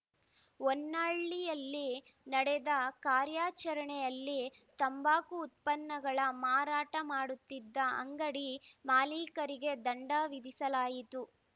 ಹೊನ್ನಾಳಿಯಲ್ಲಿ ನಡೆದ ಕಾರ್ಯಾಚರಣೆಯಲ್ಲಿ ತಂಬಾಕು ಉತ್ಪನ್ನಗಳ ಮಾರಾಟ ಮಾಡುತ್ತಿದ್ದ ಅಂಗಡಿ ಮಾಲೀಕರಿಗೆ ದಂಡ ವಿಧಿಸಲಾಯಿತು